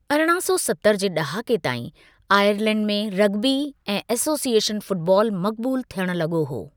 अरिड़हं सौ सतरि जे ड॒हाके ताईं, आयरलैंड में रग्बी ऐं एसोसिएशन फ़ुटबॉल मक़बूलु थियणु लगो॒ हो।